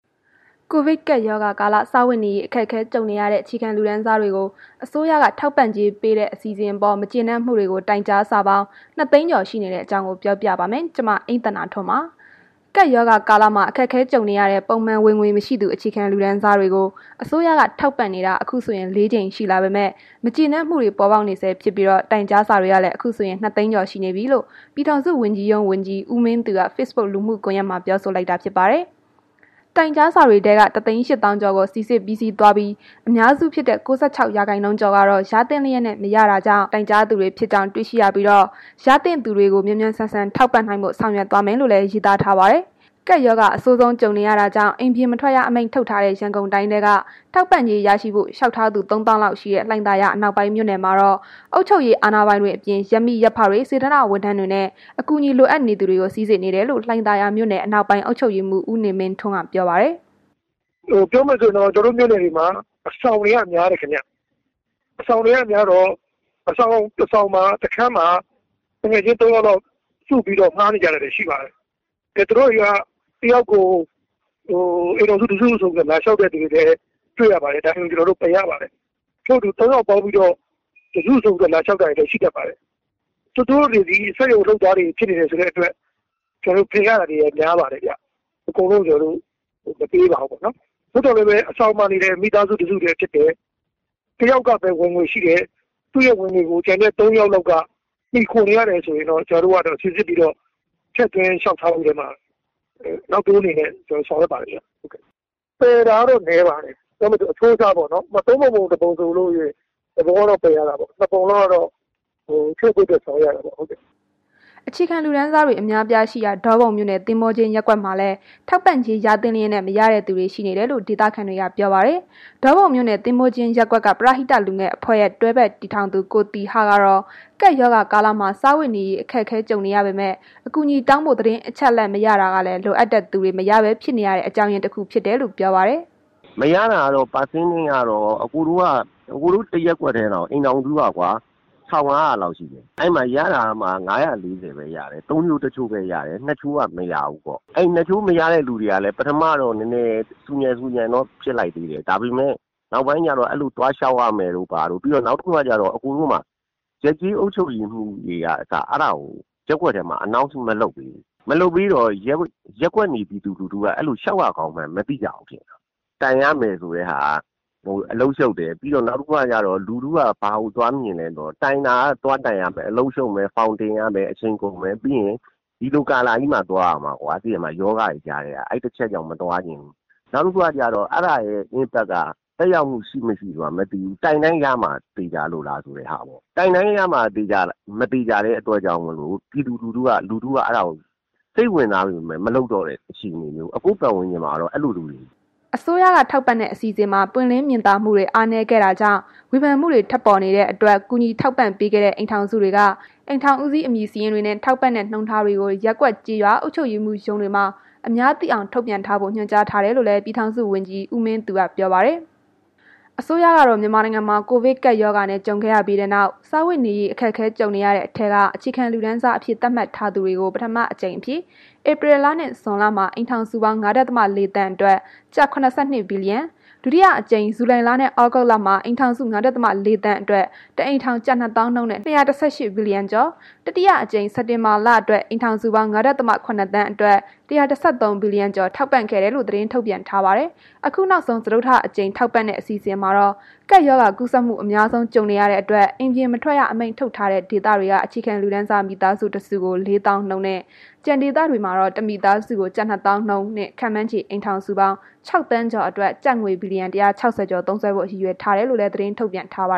ကိုဗစ်ကပ်ရောဂါကာလ စားဝတ်နေရေး အခက်အခဲကြုံနေရတဲ့ အခြေခံလူတန်းစားတွေကို အစိုးရက ထောက်ပံ့ကြေးပေးတဲ့ အစီအစဉ်အပေါ် မကျေနပ်မှုတွေကို တိုင်ကြားစာပေါင်း ၂ သိန်းကျော် ရှိနေတဲ့အကြောင်း မ အိမ့်သန္တာထွန်းပြောပြမှာပါ။ ကပ်ရောဂါကာလမှာ အခက်အခဲကြုံနေရတဲ့ ပုံမှန်ဝင်ငွေမရှိသူ အခြေခံလူတန်းစားတွေကို အစိုးရက ထောက်ပံ့နေတာ အခုဆိုရင် ၄ ကြိမ် ရှိလာပေမဲ့ မကျေနပ်မှုတွေ ပေါ်ပေါက်နေဆဲဖြစ်ပြီး တိုင်ကြားစာတွေလည်း အခုဆိုရင် ၂ သိန်းကျော်ရှိနေပြီလို့ ပြည်ထောင်စုဝန်ကြီးရုံး ဝန်ကြီး ဦးမင်းသူက Facebook လူမှုကွန်ရက်မှာ ပြောဆိုလိုက်တာဖြစ်ပါတယ်။ တိုင်ကြားစာတွေက ၁သိန်း ၈ သောင်းကျော်ကို စိစစ်ပြီးစီးပွားပြီး၊ အများစုဖြစ်တဲ့ ၉၆ ရာခိုင်နှုန်းကျော်ကတော့ ရသင့်လျက်နဲ့ မရတာကြောင့် တိုင်ကြားသူတွေ ဖြစ်ကြောင်း တွေ့ရှိရပြီး၊ ရသင့်သူတွေကို မြန်မြန်ဆန်ဆန်ထောက်ပံ့နိုင်ဖို့ ဆောင်ရွက်သွားမယ်လို့လည်း ရေးသားထားပါတယ်။ ကပ်ရောဂါ အဆိုးဆုံးကြုံနေရတာကြောင့် အိမ်ပြင်မထွက်ရ အမိန့်ထုတ်ထားတဲ့ ရန်ကုန်တိုင်းထဲက ထောက်ပံ့ကြေးရရှိဖို့ လျောက်ထားသူ ၃သောင်းလောက်ရှိတဲ့ လှိုင်သာယာ အနောက်ပိုင်းမြို့နယ်မှာတော့ အုပ်ချုပ်ရေး အာဏာပိုင်တွေအပြင် ရပ်မိရပ်ဖတွေ၊ စေတနာ့ဝန်ထမ်းတွေနဲ့ အကူအညီ လိုအပ်နေသူတွေကို စိစစ်နေတယ်လို့ လှိုင်သာယာမြို့နယ် အနောက်ပိုင်းအုပ်ချုပ်ရေးမှုး ဦးနေမင်းထွန်းက ပြောပါတယ်။ “ပြောရမယ်ဆိုရင် ကျွန်တော်တို့မြို့နယ်တွေမှာ အဆောင်တွေက များတယ်ခင်ဗျ။ အဆောင်တွေကများတော့ အဆောင်တစ်ဆောင် တစ်ခန်းမှာ သူငယ်ချင်း ၃ ယောက်လောက် စုပြီးတော့ ငှားနေကြတာတွေရှိပါတယ်။ သူတို့က တစ်ယေောက်ကို အိမ်ထောင်စုတစ်စုဆိုပြီးတော့ လာလျှောက်တာတွေလည်း တွေ့ရပါတယ်။ ဒါတွေကို ကျွန်တော်တို့ပယ်ရပါတယ်။ တစ်ချို့ဆို ၃ ယောက်ပေါင်းပြီး တစ်စုဆိုပြီးတော့ လာလျှောက်တာတွေလည်းရှိတတ်ပါတယ်။ သူတို့တွေသည် စက်ရုံလုပ်သားတွေ ဖြစ်နေတယ်ဆိုတဲ့အတွက် ကျွန်တော်တို့ ပယ်ရတာပါ။အကုန်လုံးကို ကျွန်တော်တို့ မပေးပါဘူး။ သို့သော် အဆောင်မှာနေတယ်၊ မိသားစုတစ်စုတည်းဖြစ်တယ်။ တစ်ယောက်လောက်ပဲ ဝင်ငွေရှိတယ်။ သူဝင်ငွေကို ကျန်တဲ့ ၃ယောက်လောက်က မှီခိုနေရတယ်ဆိုရင်တော့ ကျွန်တော်တို့က စိစစ်ပြီးတော့ ထည့်သွင်းလျှောက်ထားတဲ့အထဲမှာ နောက်တိုးအနေနဲ့စီစဉ်ဆောင်ရွက်ပါတယ်ခင်ဗျ။ ပယ်တာကတော့ နည်းပါတယ်။ ပြောရမယ်ဆို အချိုးအစားပေါ့နှော်၊ ၃ ပုံပုံတစ်ပုံပေါ့နှော် တစ်ပုံလောက်ကတော့ ပယ်ရတာပေါ့။ ၂ ပုံလောက်ကတော့ စိစစ်ပြီးဆောင်ရွက်ပေးပါတယ်။” အခြေခံလူတန်းစားတွေ အများအပြားရှိရာ ဒေါပုံမြို့နယ် သဘောၤကျင်းရပ်ကွက်မှာလည်း ထောက်ပံ့ကြေး ရသင့်လျက်နဲ့ မရတဲ့သူတွေ ရှိနေတယ်လို့ ဒေသခံတွေက ပြောပါတယ်။ ဒေါပုံမြို့နယ် သဘောၤကျင်းရပ်ကွက် ပရဟိတလူငယ်အဖွဲ့ရဲ့ တွဲဖက်တည်ထောင်သူ ကိုသီဟကတော့ ကပ်ရောဂါကာလမှာ စားဝတ်နေရေး အခက်အခဲ ကြုံနေရပေမဲ့ အကူအညီတောင်းဖို့ သတင်းအချက်အလက် မရတာကလည်း လိုအပ်တဲ့သူတွေ မရပဲဖြစ်နေရတဲ့ အကြောင်းရင်းတခုဖြစ်နေတယ်လို့ ပြောပါတယ်။ “မရတာကတော့ ရာခိုင်နှုန်းကတော့ အစ်ကိုတို့ တစ်ရပ်ကွက်တည်းတင် အိမ်ထောင်စုက ၁၅၀၀ လောက်ရှိတယ်။ အဲ့မှာ ရတာကမှ ၅၄၀ ပဲရတယ်။ သုံးချိုးတစ်ချိုးပဲရတယ် နှစ်ချိုးက မရဘူးပေါ့။. အဲ့ဒီ ၂ ချိုးမရတဲ့ သူတွေကလည်း ပထမတော့ နည်းနည်း ဆူညံဆူညံတော့ ဖြစ်လိုက်သေးတယ်။ ဒါပေမယ့် နောက်ပိုင်းကျတော့ အဲ့လို သွားလျှောက်ရမယ်တို့ ဘာတို့ နောက်ပြီးတော့ အဲ့မှာ ရပ်ကျေးအုပ်ချုပ်ရေးမှုးတွေကအစ အဲ့ဒါကို ရပ်ကွက်ထဲမှာ မကြေညာဘူး။ မကြေညာတော့ ရပ်ကွက်နေပြည်သူတွေက လျှောက်ရကောင်းမှန်းမသိကြဘူး။ တိုင်ရမယ်ဆိုတဲ့ဟာက အလုပ်ရှုပ်တယ်။ နောက်တစ်ခုကကျတော့ လူထုက ဘာကိုသွားမြင်လဲဆိုတော့ တိုင်တာက သွားတိုင်ရမယ် ဖောင်တင်မယ် အလုပ်ရှုပ်မယ် ပြီးရင် ဒီလိုကာလကြီးမှာသွားရမှာ ရောဂါတွေကြားထဲက အဲ့ဒီတစ်ချက်ကြောင့်မသွားချင်ဘူး။ နောက်တစ်ခုကကျတော အဲ့ဒါရဲ့ အကျိုးဆက်က သက်ရောက်မှုရှိမရှိဆိုတာမသိရဘူး။ တိုင်တိုင်းရမှာလား၊ သေချာလား၊ တိုင်တိုင်းရမှာ မသေချာတဲ့အတွက်ကြောင့်မို့လို့ လူထုက စိတ်ဝင်စားပေမယ့် မလုပ်တော့တဲ့ အခြေအနေမျိုး အစ်ကို့ပတ်ဝန်းကျင်မှာတော့ အဲ့လိုမျိုးတွေတွေ့နေရတယ်။” အစိုးရက ထောက်ပံ့တဲ့ အစီအစဉ်မှာ ပွင့်လင်းမြင်သာမှုတွေ အားနည်းခဲ့ကြောင်း ဝေဖန်မှုတွေ ထွက်ပေါ်နေတဲ့အတွက် ကူညီထောက်ပံ့ပေးခဲ့တဲ့ အိမ်ထောင်စုတွေက အိမ်ထောင်ဦးစီး အမည်စာရင်းတွေနဲ့ ထောက်ပံ့တဲ့ နှုန်းထားတွေကို ရပ်ကွက်ကျေးရွော အုပ်ချုပ်ရေးမှုးရုံးတွေမှာ အများသိအောင် ထုတ်ပြန်ထားဖို့ ညွှန်ကြားထားတယ်လို့လည်း ပြည်ထောင်စုဝန်ကြီးရုံး ဝန်ကြီး ဦးမင်းသူက ပြောပါတယ်။ အစိုးရကတော့ မြန်မာနိုင်ငံမှာ ကိုဗစ်ကပ်ရောဂါနဲ့ ကြုံခဲ့ရပြီးနောက် စားဝတ်နေရေး အခက်အခဲ ကြုံနေရတဲ့အထဲက အခြေခံလူတန်းစားအဖြစ် သတ်မှတ်ထားသူတွေကို ပထမအကြိမ်အဖြစ် ဧပြီလနဲ့ ဇွန်လမှာ အိမ်ထောင်စုပေါင်း ၅.၄ သန်းအတွက် ကျပ် ၇၂ ဘီလီယံ၊ ဒုတိယအကြိမ် ဇူလိုင်နဲ့ သြဂုတ်လအတွက် အိမ်ထောင်စု ၅.၄ သန်းအတွက် တစ်အိမ်ထောင် ကျပ်၂ သောင်းနှုန်းနဲ့ ၂၁၈ ဘီလီယံကျော်၊ တတိယအကြိမ် စက်တင်ဘာလအတွက် အိမ်ထောင်စုပေါင်း ၅.၇ သန်းခန့်အတွက် ၁၁၃ ဘီလီယံကျော် ထောက်ပံ့ခဲ့ကြောင်း သတင်းထုတ်ပြန်ထားပါတယ်။ အခုနောက်ဆုံး စတုတ္ထအကြိမ် ထောက်ပံ့တဲ့ အစီအစဉ်မှာတော့ ကပ်ရောဂါကူးစက်မှု အများဆုံး ကြုံနေရတဲ့အတွက် အိမ်ပြင်မထွက်ရ အမိန့်ထုတ်ထားတဲ့ ဒေသတွေက အခြေခံလူတန်းစား မိသားစုတစုကို ၄ သောင်းနှုန်းနဲ့ ကျန်ဒေသတွေမှာတော့ မိသားစုတစုကို ၂ သောင်းနှုန်းနဲ့ ခန့်မှန်းခြေ အိမ်ထောင်စုပေါင်း ၆ သန်းကျော်အတွက် ကျပ်ငွေ ဘီလီယံ ၁၆၀ ကျော် သုံးစွဲဖို့ ရည်ရွယ်ထားတယ်လို့လည်း သတင်းထုတ်ပြန်ထားပါ